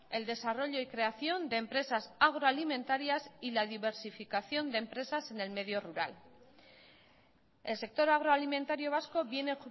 el desarrollo y creación de empresas agroalimentarias y la diversificación de empresas en el medio rural el sector agroalimentario vasco viene